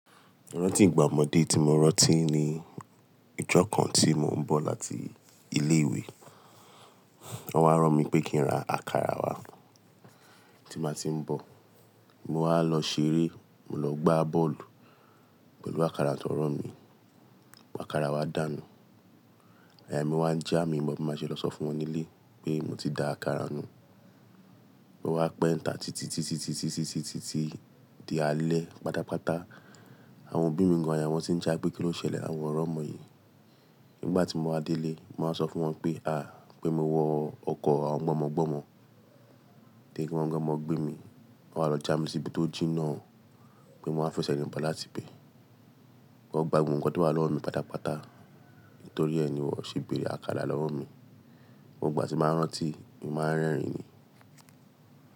Rantí igbá ọmọdé tí mo rántí ni ijọ́ kan tí mò ń bọ̀ láti ilé ìwé. Wọ́n á rán mi pé kí ń ra àkàrà wá tí màá ti ń bọ̀. Mo wá lọ ṣeré, mo lọ gbá bọ́ọ̀lù pẹ̀lú àkàrà tan ran mí. Àkàrà wa dànù. Àáyà mi wá ń já, mi o mọ bi máa ṣe lọ sọ fún wọn nílé pé mo ti da àkàrà nù. Mo wá pẹ́ ń ta titi-titi-titi-titi-titi di alẹ́ pátápátá. Àwọn òbí mi gan àyà wọn ti ń jà pé kí ló ṣẹlẹ̀ àwọn o ri ọmọ yìí. Nígbà tí mo wá délé, màá sọ fún wọn pé, à, pé mi wọ ọkọ̀ àwọn gbọmọgbọmọ Pe gbọmọgbọmọ gbé mi, wọ́n wa lọ já mi síbi tó jí iná. Pé mo máa fẹsẹ̀ rìn bọ̀ láti ibẹ́ẹ̀. Wọ́n gbogbo nnkan tí wa lọwọ mí pátápátá, nítorí ẹ ni wọ́n ṣe bèrè àkàrà lọ́wọ́ mi. Gbogbo igba tí mo ba rántí, mo máa ń rẹ́rìn-ín ni.